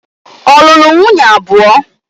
Ọ lụrụ nwunye abụọ?